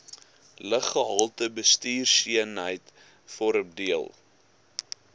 luggehaltebestuurseenheid vorm deel